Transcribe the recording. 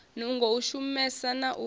nungo u shumesa na u